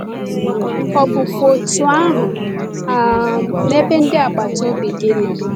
Ọ bụkwa otú ahụ um n’ebe ndị agbata obi gị nọ?